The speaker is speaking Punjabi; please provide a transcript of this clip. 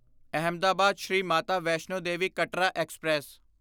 ਅਹਿਮਦਾਬਾਦ ਸ਼੍ਰੀ ਮਾਤਾ ਵੈਸ਼ਨੋ ਦੇਵੀ ਕਤਰਾ ਐਕਸਪ੍ਰੈਸ